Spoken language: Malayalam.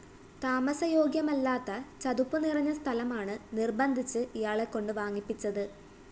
താമസ യോഗ്യമല്ലാത്ത ചതുപ്പ് നിറഞ്ഞ സ്ഥലമാണ് നിര്‍ബന്ധിച്ച് ഇയാളെക്കൊണ്ട് വാങ്ങിപ്പിച്ചത്